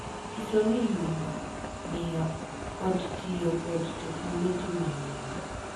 Nyiso ni yudo, ng’iyo, kod tiyo kod teknoloji manyien.